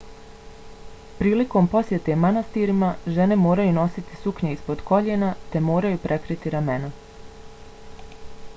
prilikom posjete manastirima žene moraju nositi suknje ispod koljena te moraju prekriti ramena